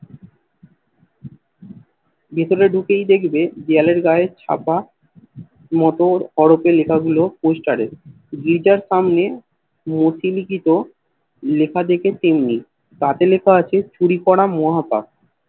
ভেতরে ঢুকেই দেখবে দেওয়ালের গায়ে ছাপা মোটর হরপে লেখা গুলো Poster এ জেটার সামনে গোছছিনিকীট লেখা দেখে তেমনি তাতে লেখা আছে চুরি করা মহা পাপ